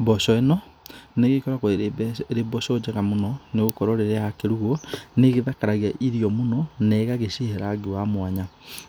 Mboco ĩno, nĩ ĩgĩkoragwo ĩrĩ mboco njega mũno nĩ gũkorwo rĩrĩa yakĩrugwo nĩ ĩgĩthakaragia irio mũno na ĩgagĩcihe rangi wa mwanya.